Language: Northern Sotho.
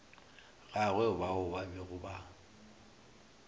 gagwe bao ba bego ba